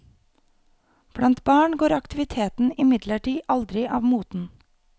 Blant barn går aktiviteten imidlertid aldri av moten.